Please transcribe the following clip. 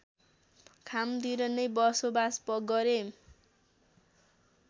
खामतिर नै बसोबास गरे